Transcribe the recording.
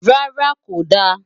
rárá, kò da